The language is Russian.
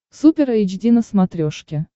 супер эйч ди на смотрешке